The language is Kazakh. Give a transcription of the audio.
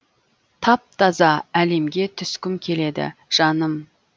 тап таза әлемге түскім келеді жаным